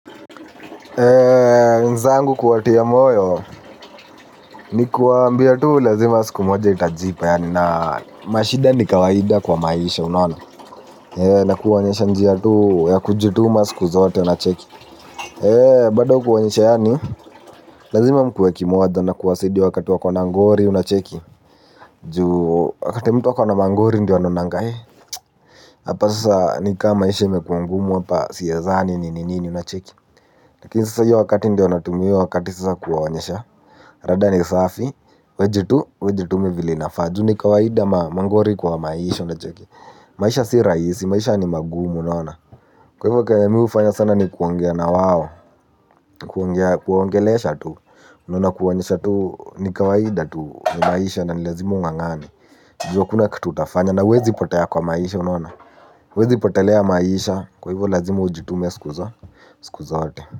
Eee nzangu kuwatiya moyo ni kuambia tu lazima siku moja itajipa ya nani. Mashida ni kawaida kwa maisha unaona. Eee na kuwanyesha njia tu ya kujutuma siku zote unacheki. Eee bada kuwanyesha ya ni lazima mkuwe kimoja na kuwasidia wakati wakona ngori unacheki. Juu wakati mtu wakona mangori ndi wanonangai. Hapa sasa nikaa maisha mekuangumu hapa siyezani ni nini unacheki lakin sasa yu wakati ndio anatumia io wakati sasa kuwanyesha. Rada ni safi, wejitu, wejitume vilinafaju ni kawaida mangori kwa maisho na choki. Maisho si raisi, maisha ni magumu naona. Kwa hivyo kanyamu ufanya sana ni kuangia na wawo. Kuangia, kuangelesha tu. Naona kuanyesha tu, ni kawaida tu, ni maisha na ni lazimu ngangani. Jio kuna kututafanya na wezi ipotea kwa maisha naona. Wezi ipotelea maisha, kwa hivyo lazimu ujitume siku zo, siku zote.